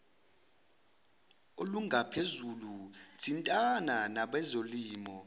olungaphezulu thintana nabezolimo